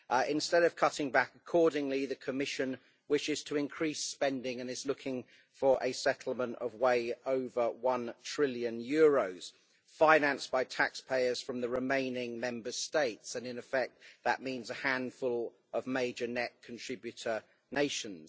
Instead of cutting back accordingly, the Commission wishes to increase spending and is looking for a settlement of way over one trillion euros, financed by taxpayers from the remaining Member States, and in effect, that means a handful of major net contributor nations.